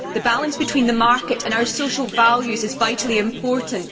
The balance between the market and our social values is vitally important